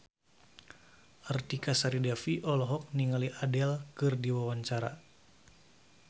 Artika Sari Devi olohok ningali Adele keur diwawancara